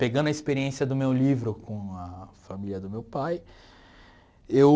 Pegando a experiência do meu livro com a família do meu pai, eu...